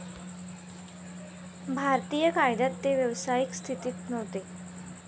भारतीय कायद्यात ते व्यावसायिक स्थितीत नव्हते.